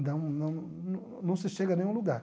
Não não não não se chega a nenhum lugar.